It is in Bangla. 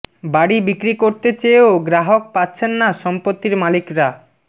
বাড়ি বিক্রি করতে চেয়েও গ্রাহক পাচ্ছেন না সম্পত্তির মালিকরা